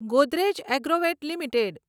Godrej Agrovet limited